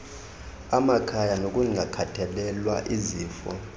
emakhaya nokungakhathalelwa izifo